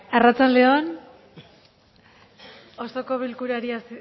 arratsalde on osoko bilkurari